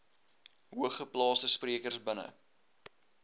hoogeplaasde sprekers binne